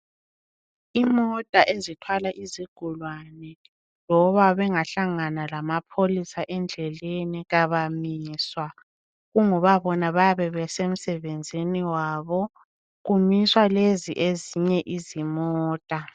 Imota ezithwala izigulani loba bengahlangana lamapholisa endleleni kabamiswa kungoba bona abayabe besemsebenzini wabo, kumiswa lezi. ezinye izimota.